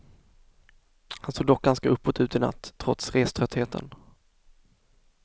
Han såg dock ganska uppåt ut i natt, trots reströttheten.